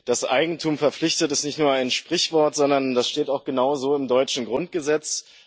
Dass Eigentum verpflichtet, ist nicht nur ein Sprichwort, sondern das steht auch genauso im deutschen Grundgesetz.